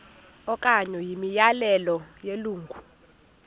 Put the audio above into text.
okanye imiyalelo yelungu